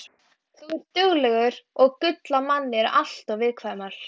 Á þessum tíma voru fimm litlar rennslisvirkjanir á svæðinu.